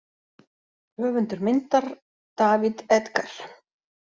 Höfundur myndar: David Edgar.